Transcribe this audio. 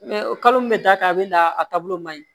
kalo min bɛ da ka a bɛ na a taabolo man ɲi